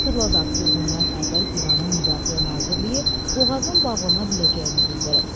Xatırladaq ki, bundan əvvəl İranın Müdafiə Nazirliyi boğazın bağlana biləcəyini bildirib.